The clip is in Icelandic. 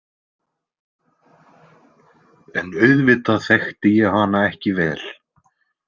En auðvitað þekkti ég hana ekki vel.